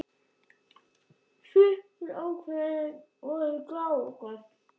Svipuð ákvæði voru í Grágás.